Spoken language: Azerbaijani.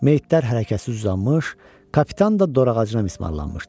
Meyitlər hərəkətsiz uzanmış, kapitan da dor ağacına mismarlanmışdı.